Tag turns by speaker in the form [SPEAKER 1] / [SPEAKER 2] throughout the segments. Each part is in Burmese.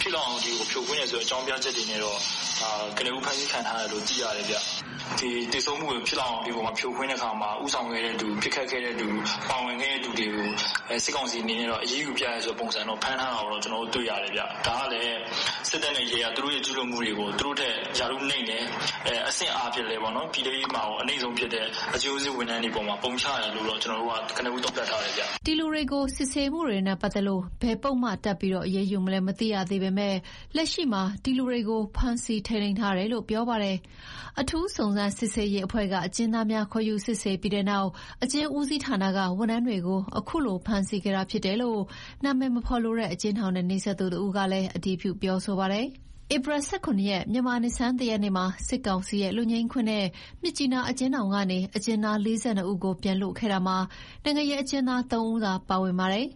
[SPEAKER 1] ဖြစ်လောက်အောင်" ဆိုတဲ့အကြောင်းပြချက်တွေနဲ့တော့ ကနဦး ဖမ်းဆီးထားတယ်လို့သိရတယ်။ သေဆုံးမှုဖြစ်စဉ်ဖြစ်တဲ့ခါမှာ ဦးဆောင် တဲ့သူ ပစ်ခတ်တဲ့သူ ပါဝင်ခဲ့တဲ့သူတွေကိုတော့ စစ်ကောင်စီဘက်က အရေးယူပြတယ်ဆိုတာမျိုး၊ ဖမ်းထားတာမျိုး ကျနော်တို့တွေ့ရတယ်။ ဒါကလည်း စစ်တပ်နဲ့ရဲက သူတို့ကျူးလွန်မှုတွေကို သူတို့ထက်အဆင့်နိမ့်တဲ့ ပြည်တဲရေးမှာတောင် အနိမ့်ဆုံးအဆင့်ဖြစ်တဲ့ အကျဉ်းဦးစီးဝန်ထမ်းတွေ ကို ပုံချတယ်လို့ ကနဦး သုံးသပ်ထားတယ်။
[SPEAKER 2] " ဒီလူတွေကို စစ်ဆေးနေတာနဲ့ပတ်သက်လို့ ဘယ်လိုပုဒ်မတပ်ပြီး အရေးယူမလဲမသိရသေးပေမယ့် လက်ရှိမှာ ဒီလူတွေကို ဖမ်းဆီးထိန်းသိမ်းထားတယ်လို့ပြောပါတယ်။ အထူးစုံစမ်းစစ်ဆေးရေးအဖွဲ့က အကျဉ်းသားများကိုခေါ်ယူစစ်ဆေးပြီးနောက် အကျဉ်းဦးစီးဌာနက ဝန်ထမ်းတွေကို အခုလိုဖမ်းဆီးခဲ့တာဖြစ်တယ်လို့ အမည်မဖော်လိုတဲ့ အကျဉ်းထောင်နဲ့နီးစပ်သူတဦးကလည်း အတည်ပြုပြောဆိုပါတယ်။ ဧပြီလ ၁၇ ရက် မြန်မာနှစ်ဆန်းတစ်ရက်နေ့မှာ စစ်ကောင်စီရဲ့ လွတ်ငြိမ်းခွင့်နဲ့ မြစ်ကြီးနား အကျဥ်းထောင်ကနေ အကျဥ်းသား ၄၂ ဦးကို ပြန်လွှတ်ခဲ့တာမှာ နိုင်ငံရေးအကျဉ်းသား ၃ ဦးသာပါဝင်ပါတယ်။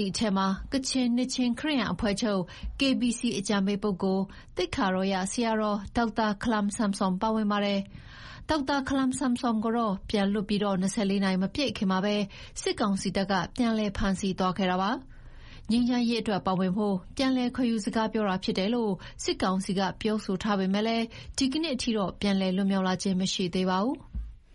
[SPEAKER 2] ဒီထဲမှာ ကချင်နှစ်ခြင်းခရစ်ယာန် အဖွဲ့ချုပ် အကြံပေးပုဂ္ဂိုလ် သိက္ခာတော်ရဆရာတော် ဒေါက်တာ ခလမ်ဆမ်ဆွမ်ပါဝင်ပါတယ်။ ဒါပေမဲ့လည်း ဒေါက်တာ ခလမ်ဆမ်ဆွမ်ကို ပြန်လွှတ်ပြီး ၂၄ နာရီမပြည့်ခင်မှာပဲ စစ်ကောင်စီတပ်က ပြန်လည်ဖမ်းဆီးသွားခဲ့တာပါ။ ငြိမ်းချမ်းရေးအတွက်ပါဝင်ဖို့ ပြန်လည်ခေါ်ယူစကားပြောတာဖြစ်တယ်လို့ စစ်ကောင်စီက ပြောဆိုထားပေမယ့် ဒီနေ့အထိ ပြန်လည်လွတ်မြောက်လာခြင်း မရှိသေးပါဘူး။